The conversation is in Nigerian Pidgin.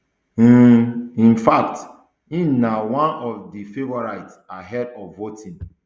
um in um fact im na one of di favourites ahead of voting